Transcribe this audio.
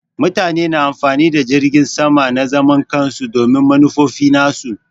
Mutane na amfani da jiragin sama na zaman kansu domin manufofi nasu.